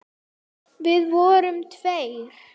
Við vorum tveir.